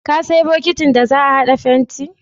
Ka sayo bokitin da za a haɗa fentin?